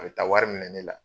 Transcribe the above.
A be taa wari minɛ ne la